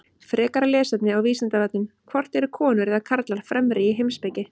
Frekara lesefni á Vísindavefnum: Hvort eru konur eða karlar fremri í heimspeki?